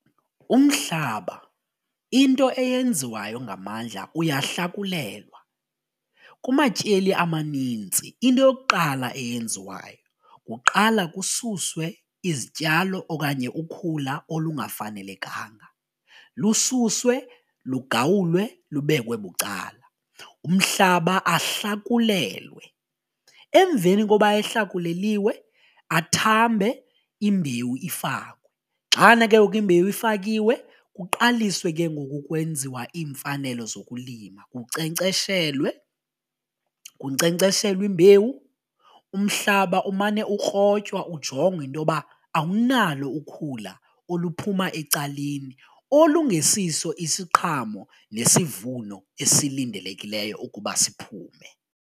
Umhlaba into eyenziwayo ngamandla uyahlakulelwa, kumatyeli amaninzi into yokuqala eyenziwayo kuqala kususwe izityalo okanye ukhula olungafanelekanga lususwe, lugawulwe lubekwe bucala. Umhlaba ahlakulelwe emveni koba ehlakuleliwe athambe imbewu ifakwe, xana ke ngoku imbewu ifakiwe kuqaliswe ke ngoku kwenziwa iimfanelo zokulima kukcenkceshelwe, kunkcenkceshelwe imbewu umhlaba umane ukrotywa ujongwa intoba awunalo ukhula oluphuma ecaleni olungesiso isiqhamo nesivuno esilindelekileyo ukuba siphume.